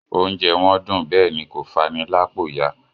Oúnjẹ wọn dùn bẹ́ẹ̀ ni kò fani lápò ya